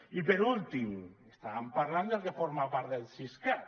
i per últim estàvem parlant del que forma part del siscat